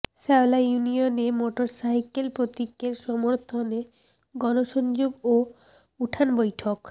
শেওলা ইউনিয়নে মোটরসাইকেল প্রতীকের সমর্থনে গণসংযোগ ও উঠান বৈঠক